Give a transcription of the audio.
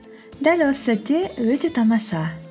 дәл осы сәтте өте тамаша